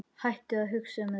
Hættu að hugsa um þetta.